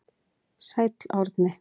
Sæll Árni.